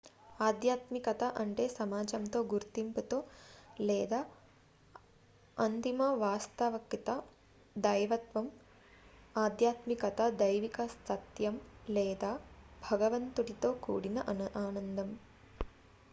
ఆధ్యాత్మికత అంటే సమాజంతో గుర్తింపుతో లేదా అంతిమ వాస్తవికత దైవత్వం ఆధ్యాత్మిక దైవిక సత్యం లేదా భగవంతుడితో కూడిన ఆనందం